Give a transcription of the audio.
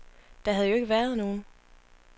Der havde jo ikke været nogen.